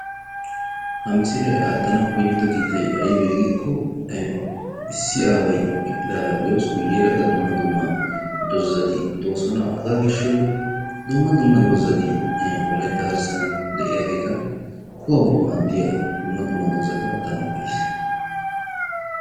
Ha misilee aattanau koyido kiitay aybee giikko issi aaway eqqidaagaa bee'os. guyyeera qa dumma dumma dozazati doosona. hagaa gishshawu dumma dumma dozazati wolaytta garssan de'iyaageeta kuwawu maaddiya dumma dumma dozata aattanawu koyiis.